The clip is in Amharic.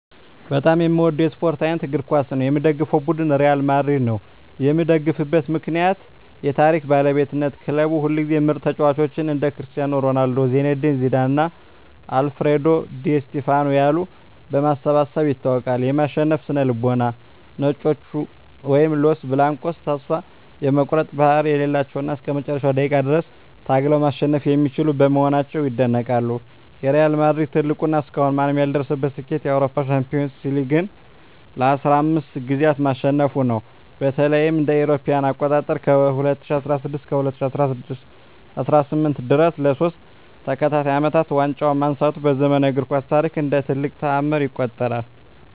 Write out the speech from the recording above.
በጣም የምወደው የስፓርት አይነት እግር ኳስ ነው። የምደግፈው ቡድን ሪያል ማድሪድ ነው። የምደግፍበት ምክንያት ዠ የታሪክ ባለቤትነት ክለቡ ሁልጊዜም ምርጥ ተጫዋቾችን (እንደ ክርስቲያኖ ሮናልዶ፣ ዚነዲን ዚዳን እና አልፍሬዶ ዲ ስቲፋኖ ያሉ) በማሰባሰብ ይታወቃል። የማሸነፍ ስነ-ልቦና "ነጮቹ" (Los Blancos) ተስፋ የመቁረጥ ባህሪ የሌላቸው እና እስከ መጨረሻው ደቂቃ ድረስ ታግለው ማሸነፍ የሚችሉ በመሆናቸው ይደነቃሉ። የሪያል ማድሪድ ትልቁ እና እስካሁን ማንም ያልደረሰበት ስኬት የአውሮፓ ሻምፒዮንስ ሊግን (UEFA Champions League) ለ15 ጊዜያት ማሸነፉ ነው። በተለይም እ.ኤ.አ. ከ2016 እስከ 2018 ድረስ ለሶስት ተከታታይ አመታት ዋንጫውን ማንሳቱ በዘመናዊው እግር ኳስ ታሪክ እንደ ትልቅ ተአምር ይቆጠራል።